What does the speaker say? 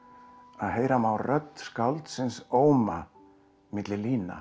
að heyra má rödd skáldsins óma milli lína